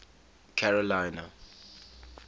carolina